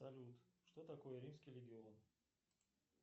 салют что такое римский легион